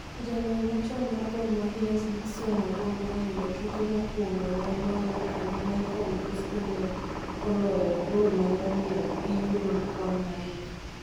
jaloyo machon mar Gor Mahia s Dickson Agwambo Raila tuke mokuongo ne oloyo, kendo Michael Bosco ne oloyo golmane omiyo giyudo kwan adek